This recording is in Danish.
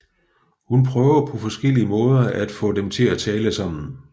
Hun prøver på forskellige måder at få dem til at tale sammen